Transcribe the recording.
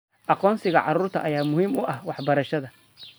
Aqoonsiga carruurta ayaa muhiim u ah waxbarashada.